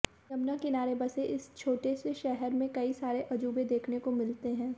यमुना किनारे बसे इस छोटे से शहर में कई सारे अजूबे देखने को मिलते हैं